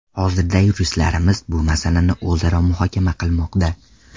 Hozirda yuristlarimiz bu masalani o‘zaro muhokama qilmoqda.